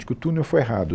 de que o túnel foi errado.